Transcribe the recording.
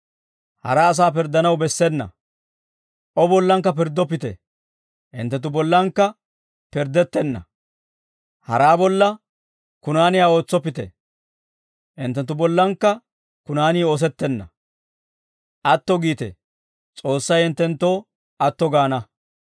«O bollankka pirddoppite, hinttenttu bollankka pirddettenna; haraa bolla kunaaniyaa ootsoppite; hinttenttu bollankka kunaani oosettenna. Atto giite; S'oossay hinttenttoo atto gaana.